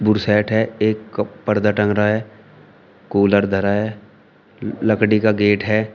और शैट है एक कप पर्दा टंग रहा है कूलर धारा है लकड़ी का गेट है।